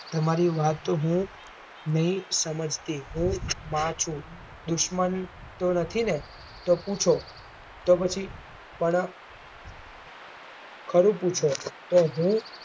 તમારી વાત હું નઈ સમજતી હું માં છું દુશ્મન તો નથી ને તો પૂછો તો પછી પણ ખરું પૂછો તો હું